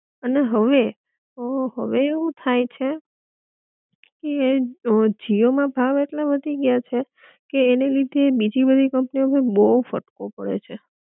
અને હવે, હવે અ હવે એવું થાય છે કે જીઓ માં ભાવ એટલા વધી ગયા છે કે અને લીધે બીજી બધી કંપનીઓ પર બહુ ફટકો પડેછે